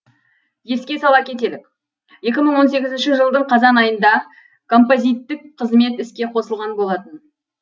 еске сала кетелік екі мың он сегізінші жылдың қазан айында композиттік қызмет іске қосылған болатын